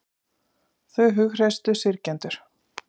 Þau hughreystu syrgjendur